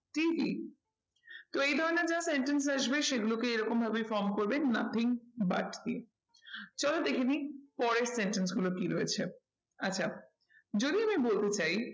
TV তো এই ধরণের যা sentence আসবে সেগুলোকে এরকম ভাবেই form করবে nothing but দিয়ে। চলো দেখে নিই পরের sentence গুলো কি রয়েছে। আচ্ছা যদি আমি বলতে চাই